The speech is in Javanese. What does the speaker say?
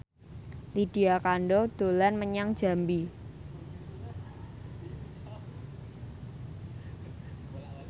Lydia Kandou dolan menyang Jambi